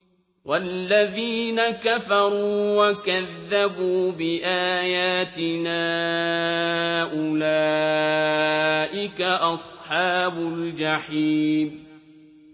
وَالَّذِينَ كَفَرُوا وَكَذَّبُوا بِآيَاتِنَا أُولَٰئِكَ أَصْحَابُ الْجَحِيمِ